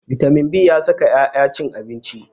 Bitamin b ya saka 'ya ta cin abinci.